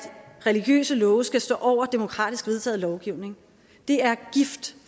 religiøse love skal stå over demokratisk vedtaget lovgivning det er gift